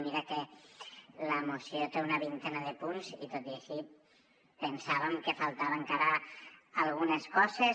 i mira que la moció té una vintena de punts i tot i així pensàvem que faltaven encara algunes coses